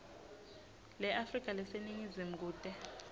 leafrika leseningizimu kute